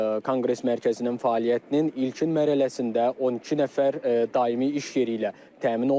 Konqres mərkəzinin fəaliyyətinin ilkin mərhələsində 12 nəfər daimi iş yeri ilə təmin olunub.